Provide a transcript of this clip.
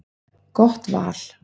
Gott val.